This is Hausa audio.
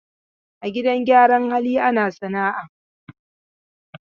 A gidan gyaran hali ana sana'a.